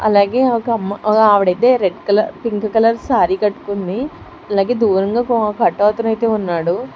అలాగే ఒక అమ్మ ఓగావిడైతే red colour pink colour sari కట్టుకుంది. అలాగే దూరంగా ఒక అటో అతనైతే ఉన్నాడు.